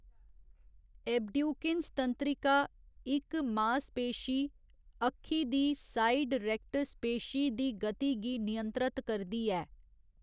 Abducens तंत्रिका इक मासपेशी, अक्खी दी साइड रेक्टस पेशी दी गति गी नियंत्रत करदी ऐ।